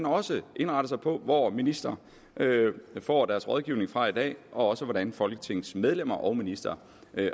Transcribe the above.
også indretter sig på hvor ministre får deres rådgivning fra i dag og også hvordan folketingets medlemmer og ministre